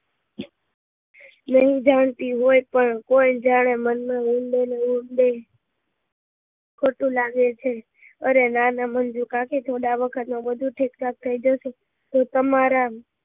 નહિ જણાતી હોય પણ કોઈ જાણે મન માં ઊંડે ને ઊંડે ખોટું લાગે છે અરે ના ના મંજુ કાકી થોડા આ વખત માં બધું ઠીક થયી જશે તો તમારા